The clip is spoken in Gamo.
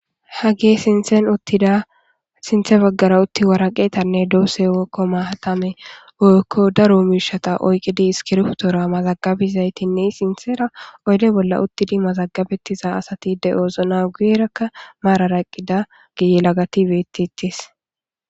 Ha ge sinten uttida sinthe baggara utti waraqeetanne doosse wekko maatame oykko daro miishata oyqqidi iskirftora mazagabizaytinne sinthera oyde bolla uttidi mazagabetiza asati de oozona guyerakka maararaqqida giye lagatibetitis.